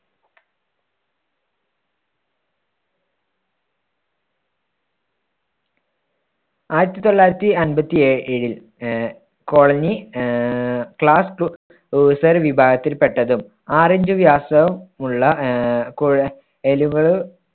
ആയിരത്തി തൊള്ളായിരത്തി അൻപത്തി ഏ~ഏഴിൽ ആഹ് colony ആഹ് class വിഭാഗത്തിൽപ്പെട്ടതും ആറിഞ്ച് വ്യാസം ഉള്ള ആഹ് കുഴ~ലുകൾ